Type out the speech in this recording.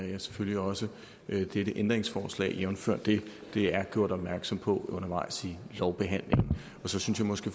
jeg selvfølgelig også dette ændringsforslag jævnfør dette at det er der gjort opmærksom på undervejs i lovbehandlingen så synes jeg måske